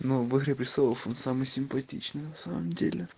ну в игре престолов он самый симпатичный на самом деле